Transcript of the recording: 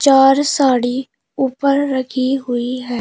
चार साड़ी ऊपर रखी हुई है।